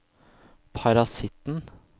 parasitten